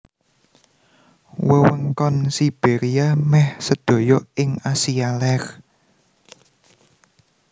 Wewengkon Sibéria meh sedaya ing Asia Lèr